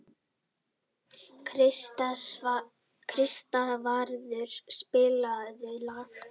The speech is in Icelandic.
Kristvarður, spilaðu lag.